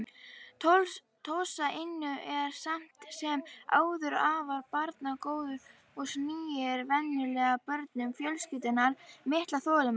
Tosa Inu er samt sem áður afar barngóður og sýnir venjulega börnum fjölskyldunnar mikla þolinmæði.